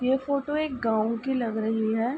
ये फोटो एक गांव की लग रही है।